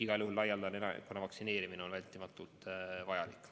Igal juhul laialdane elanikkonna vaktsineerimine on hädavajalik.